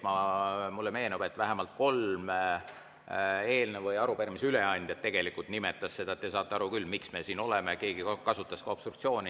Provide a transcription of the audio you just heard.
Mulle meenub, et vähemalt kolm eelnõu või arupärimise üleandjat tegelikult nimetasid seda, et te saate aru küll, miks me siin oleme, keegi kasutas ka sõna "obstruktsioon".